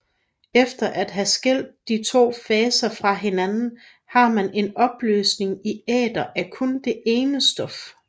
Efter at have skilt de to faser fra hinanden har man en opløsning i æter at kun det ene stof